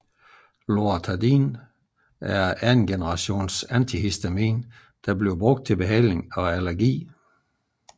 Loratadin er et anden generations antihistamin der anvendes til behandling af allergi